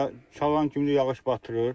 Çalan kimi yağış batırır.